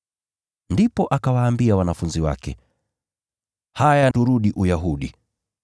Ndipo akawaambia wanafunzi wake, “Haya, turudi Uyahudi.”